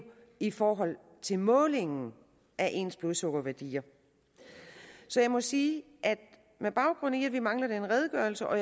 i forhold til målingen af ens blodsukkerværdier så jeg må sige at med baggrund i at vi mangler den redegørelse og